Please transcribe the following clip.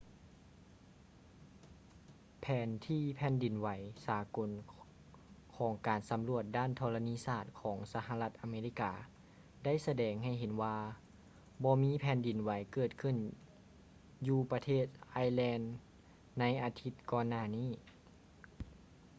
ແຜນທີ່ແຜ່ນດິນໄຫວສາກົນຂອງການສຳຫຼວດດ້ານທໍລະນີສາດຂອງສະຫະລັດອາເມລິກາໄດ້ສະແດງໃຫ້ເຫັນວ່າບໍ່ມີແຜ່ນດິນໄຫວເກີດຂຶ້ນຢູ່ປະເທດໄອແລນໃນອາທິດກ່ອນໜ້ານີ້